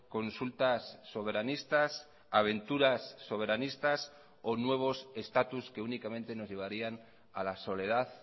consultas soberanistas aventuras soberanistas o nuevos estatus que únicamente nos llevarían a la soledad